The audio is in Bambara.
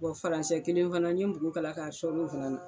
falansɛ kelen fana n ye npogo kala k'a sɔri o fana na.